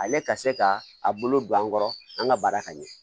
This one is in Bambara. Ale ka se ka a bolo don an kɔrɔ an ka baara ka ɲɛ